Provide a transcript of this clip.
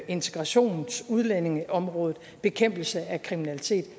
integrations og udlændingeområdet og bekæmpelse af kriminalitet